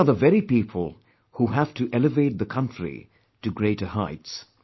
These are the very people who have to elevate the country to greater heights